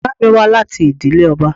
Ìyá mi wá láti ìdílé ọba.